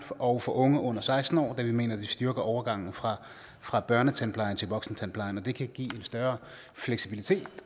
og for unge under seksten år da vi mener det styrker overgangen fra fra børnetandplejen til voksentandplejen det kan give en større fleksibilitet